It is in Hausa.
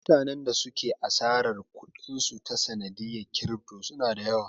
Mutanen da suka yi asarar kuɗin su ta sanadiyar kirifto suna da yawa